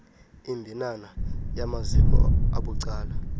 imbinana yamaziko abucala